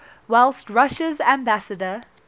whilst russia's ambassador